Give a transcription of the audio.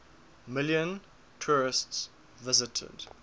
million tourists visited